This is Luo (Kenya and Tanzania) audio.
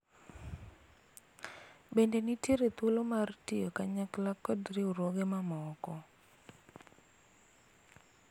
bende nitiere thuolo mar tiyo kanyakla kod riwruoge mamoko ?